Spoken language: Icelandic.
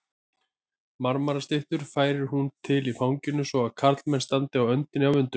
Marmarastyttur færir hún til í fanginu svo að karlmenn standa á öndinni af undrun.